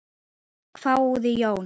hváði Jón.